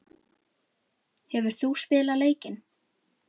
Hefur þú spilað leikinn?